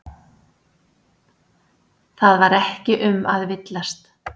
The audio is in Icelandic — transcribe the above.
Það var ekki um að villast.